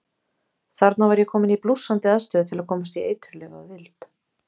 Þarna var ég kominn í blússandi aðstöðu til að komast í eiturlyf að vild.